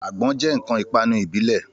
Àgbọn jẹ́ ǹkan ìpanu ìbílẹ̀